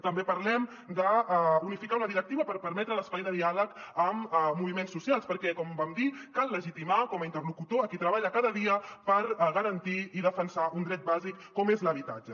també parlem d’unificar una directiva per permetre l’espai de diàleg amb movi·ments socials perquè com vam dir cal legitimar com a interlocutor a qui treballa cada dia per garantir i defensar un dret bàsic com és l’habitatge